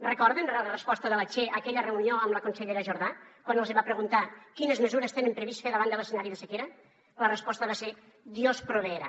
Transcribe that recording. recorden la resposta de la che a aquella reunió amb la consellera jordà quan els hi va preguntar quines mesures tenen previst fer davant de l’escenari de sequera la resposta va ser dios proveerá